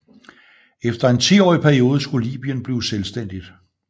Efter en tiårig periode skulle Libyen blive selvstændigt